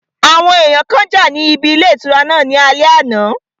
Àwọn èèyàn kan jà níbi ilé ìtura náà ní alẹ́ àná